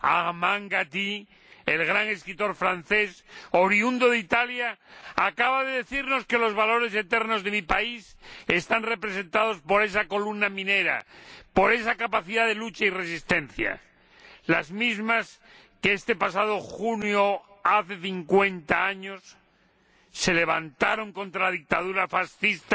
Armand Gatti, el gran escritor francés oriundo de Italia, acaba de de decirnos que los valores eternos de mi país están representados por esa columna minera, por esa capacidad de lucha y resistencia, los mismos valores que, este pasado junio hizo cincuenta años, se levantaron contra la dictadura fascista